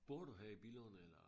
Bor du her i Billund eller?